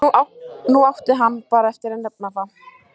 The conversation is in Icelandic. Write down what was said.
Nú átti hann bara eftir að nefna það.